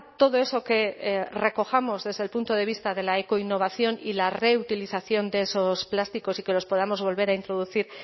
todo eso que recojamos desde el punto de vista de la ecoinnovación y la reutilización de esos plásticos y que los podamos volver a introducir